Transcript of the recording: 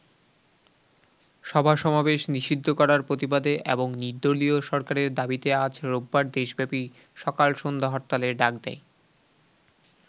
সভা-সমাবেশ নিষিদ্ধ করার প্রতিবাদে এবং নির্দলীয় সরকারের দাবিতে আজ রোববার দেশব্যাপী সকাল সন্ধ্যা হরতালের ডাক দেয়।